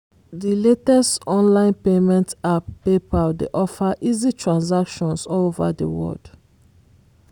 di latest online payment app paypal dey offer easy transactions all over di world.